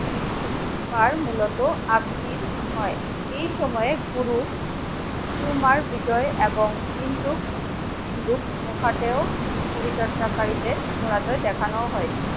বার মূলত হয় এই সময়ে গুরু গুরুমার হৃদয় এবং পরিচর্চাকারীদের দেখানোও হয়ছে